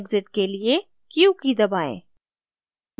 exit के लिए q की दबाएँ